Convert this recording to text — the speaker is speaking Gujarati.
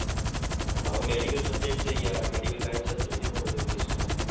હા medical subject છે ને હા medical લાઈન હોય તો જોઇને જ બઘુ English માં